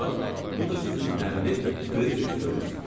Bax, bu da sizin 50 Freidrixstorniz.